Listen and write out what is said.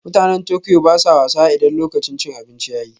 Mutanen Tokyo ba sa wasa idan lokacin cin abinci ya yi